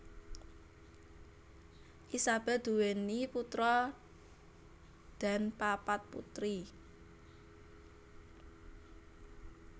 Isabel nduwèni putra dan papat putri